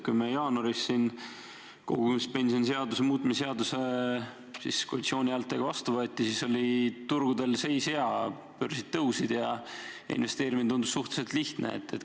Kui meil jaanuaris kogumispensionide seaduse muutmise seadus koalitsiooni häältega vastu võeti, siis oli turgudel seis hea, börsid tõusid ja investeerimine tundus suhteliselt lihtne.